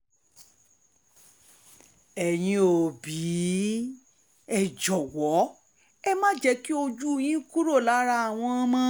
ẹ̀yin òbí ẹ jọ̀wọ́ ẹ má jẹ́ kí ojú yín kúrò lára àwọn ọmọ yín